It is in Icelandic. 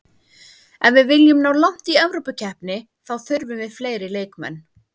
Ef við viljum ná langt í Evrópukeppni þá þurfum við fleiri leikmenn.